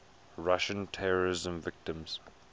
russian terrorism victims